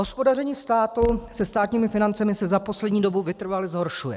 Hospodaření státu se státními financemi se za poslední dobu vytrvale zhoršuje.